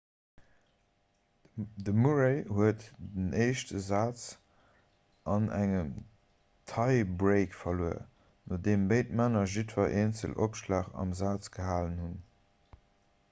de murray huet den éischte saz an engem tie-break verluer nodeem béid männer jiddwer eenzelen opschlag am saz gehalen hunn